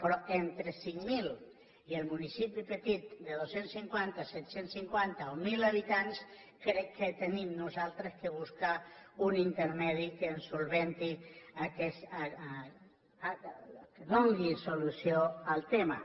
però entre cinc mil i el municipi petit de dos cents i cinquanta set cents i cinquanta o mil habitants crec que nosaltres hem de buscar un intermedi que ens resolgui que ens doni solució al tema